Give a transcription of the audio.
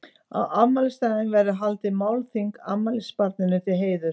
Á afmælisdaginn verður haldið málþing afmælisbarninu til heiðurs.